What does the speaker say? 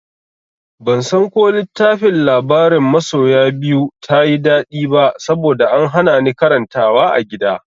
Bansan ko littafin labarin masoya biyu ta yi daɗi ba saboda an hana ni karantawa a gida.